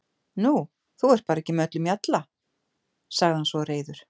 Nú, þú ert bara ekki með öllum mjalla, sagði hann svo reiður.